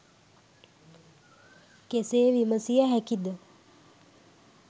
කෙසේ විමසිය හැකිද?